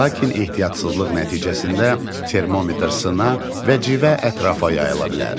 Lakin ehtiyatsızlıq nəticəsində termometr sına və civə ətrafa yayıla bilər.